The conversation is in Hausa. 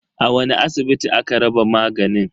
A wani asibiti aka raba maganin?